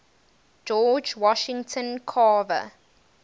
george washington carver